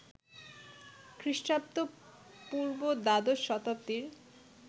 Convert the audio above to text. খ্রীঃ পূঃ দ্বাদশ শতাব্দীর